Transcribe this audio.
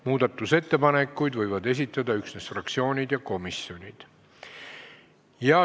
Muudatusettepanekuid võivad esitada üksnes fraktsioonid ja komisjonid.